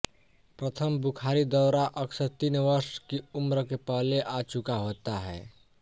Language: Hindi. प्रथम बुख़ारी दौरा अक्सर तीन वर्ष की उम्र के पहले आ चुका होता है